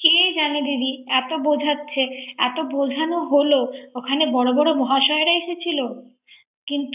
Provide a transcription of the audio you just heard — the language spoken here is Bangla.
কে জানে দিদি এত বোঝাচ্ছে, এত বোঝানো হলো ওখানে বর বর মহাসয়রা এসেছিল। কিন্ত